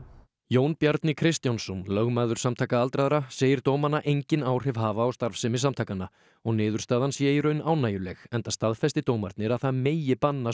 Jón Bjarni Kristjánsson lögmaður Samtaka aldraðra segir dómana engin áhrif hafa á starfsemi samtakanna og niðurstaðan sé í raun ánægjuleg enda staðfesti dómarnir að það megi banna